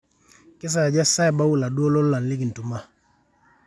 kesaaja saa ebau laduo lolan likintuma